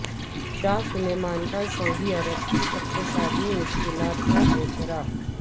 شاہ Salman کا Saudi عرب کی اقتصادی مشکلات کا اعتراف